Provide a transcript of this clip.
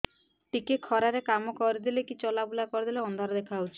ଟିକେ ଖରା ରେ କାମ କରିଦେଲେ କି ଚଲବୁଲା କରିଦେଲେ ଅନ୍ଧାର ଦେଖା ହଉଚି